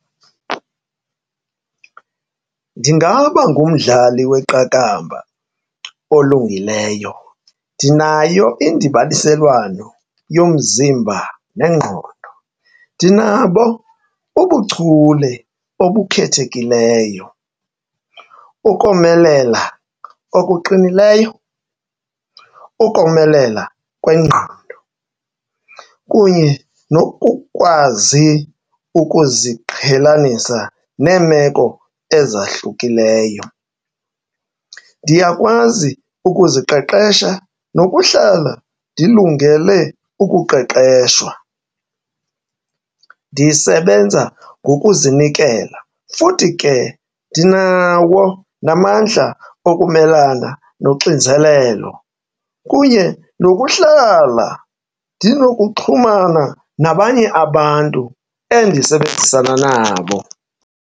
Ndingaba ngumdlali weqakamba olungileyo. Ndinayo indibaniselwano yomzimba nengqondo, ndinabo ubuchule obukhethekileyo, ukomelela okuqinileyo, ukomelela kwengqondo kunye nokukwazi ukuziqhelanisa neemeko ezahlukileyo. Ndiyakwazi ukuziqeqesha nokuhlala ndilungele ukuqeqeshwa, ndisebenza ngokuzinikela futhi ke ndinawo namandla okumelana noxinzelelo kunye nokuhlala ndinokuxhumana nabanye abantu endisebenzisana nabo.